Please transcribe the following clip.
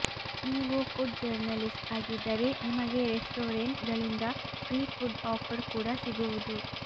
ನೀವು food journalist ಆಗಿದ್ದರೆ ನಿಮಗೆ ರೆಸ್ಟೋರೆಂಟ್ ಗಳಿಂದ ಫ್ರೀ ಫುಡ್ ಆಫರ್ ಕೂಡಾ ಸಿಗುವುದು